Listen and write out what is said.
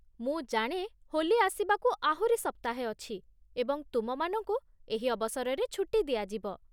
ମୁଁ ଜାଣେ ହୋଲି ଆସିବାକୁ ଆହୁରି ସପ୍ତାହେ ଅଛି, ଏବଂ ତୁମ ମାନଙ୍କୁ ଏହି ଅବସରରେ ଛୁଟି ଦିଆଯିବ।